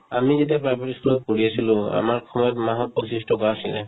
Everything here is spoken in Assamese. আমি যেতিয়া private ই school ত পঢ়ি আছিলো আমাৰ সময়ত মাহত পঁচিশ টকা আছিলে